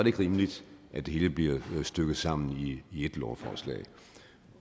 ikke rimeligt at det hele bliver stykket sammen i et lovforslag